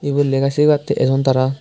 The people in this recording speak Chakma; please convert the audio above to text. ibot lega sigibattey ejon tara.